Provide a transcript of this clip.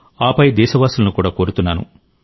ఆపై దేశవాసులను కూడా కోరుతున్నాను